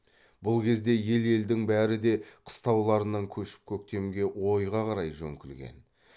бұл кезде ел елдің бәрі де қыстауларынан көшіп көктемге ойға қарай жөңкілген